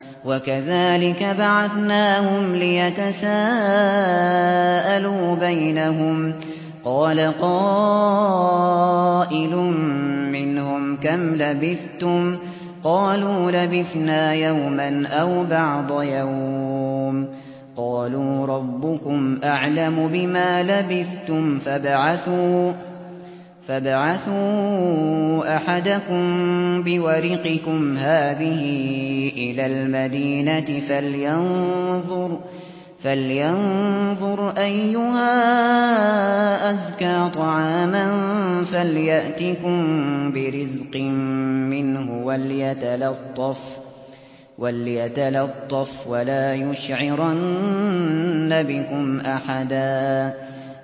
وَكَذَٰلِكَ بَعَثْنَاهُمْ لِيَتَسَاءَلُوا بَيْنَهُمْ ۚ قَالَ قَائِلٌ مِّنْهُمْ كَمْ لَبِثْتُمْ ۖ قَالُوا لَبِثْنَا يَوْمًا أَوْ بَعْضَ يَوْمٍ ۚ قَالُوا رَبُّكُمْ أَعْلَمُ بِمَا لَبِثْتُمْ فَابْعَثُوا أَحَدَكُم بِوَرِقِكُمْ هَٰذِهِ إِلَى الْمَدِينَةِ فَلْيَنظُرْ أَيُّهَا أَزْكَىٰ طَعَامًا فَلْيَأْتِكُم بِرِزْقٍ مِّنْهُ وَلْيَتَلَطَّفْ وَلَا يُشْعِرَنَّ بِكُمْ أَحَدًا